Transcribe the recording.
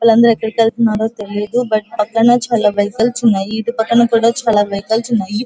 వాళ్ళు అందరూ ఎటు వెళ్తున్నారో తెలియదు. బట్ అటు పక్కన చాల వెహికల్స్ ఉన్నాయి. ఇటు పక్కన కూడా ఉన్నాయి.